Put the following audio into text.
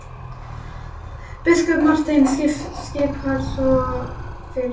Biskup Marteinn skipar svo fyrir sjálfur!